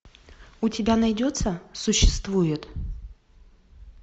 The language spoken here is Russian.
у тебя найдется существует